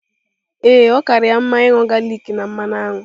Ee, ọ kaara ya mma ịṅụ galik na mmanụ aṅụ.